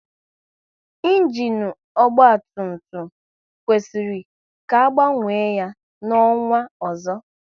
Ịnginu ọgba tum tum kwesịrị ka a gbanwe ya n'ọnwa ọzọ